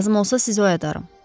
Lazım olsa sizi oyadarım.